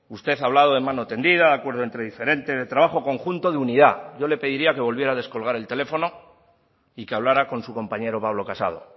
usted ha hablado de mano tendida de acuerdo entre diferentes de trabajo conjunto de unidad yo le pediría que volviera a descolgar el teléfono y que hablará con su compañero pablo casado